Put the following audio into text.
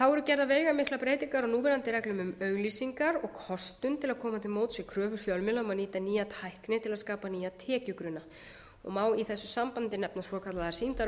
þá eru gerðar veigamiklar breytingar á núverandi reglum um auglýsingar og kostun til að koma til móts við kröfu fjölmiðla um að nýta nýja tækni til að skapa nýja tekjugrunna og má í þessu sambandi nefna svokallaðar sýndarauglýsingar og vöruinnsetningar einnig